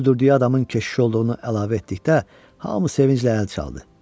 Öldürdüyü adamın keşiş olduğunu əlavə etdikdə hamı sevinclə əl çaldı.